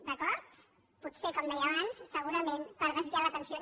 d’acord potser com deia abans segurament per desviar l’atenció